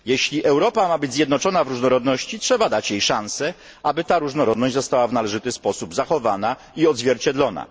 Jeśli Europa ma być zjednoczona w różnorodności, trzeba dać jej szansę, aby ta różnorodność została w należyty sposób zachowana i odzwierciedlona.